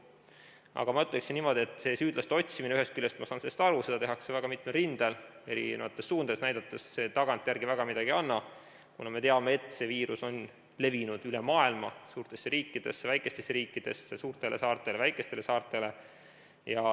Aga ma ütleksin niimoodi, et ühest küljest saan ma aru sellest süüdlaste otsimisest, seda tehakse väga mitmel rindel eri suundadesse näidates, kuid see tagantjärele midagi ei anna, kuna me teame, et see viirus on levinud üle maailma suurtesse riikidesse, väikestesse riikidesse, suurtele saartele, väikestele saartele.